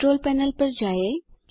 control panel पर जाएँ